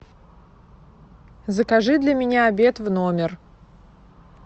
закажи для меня обед в номер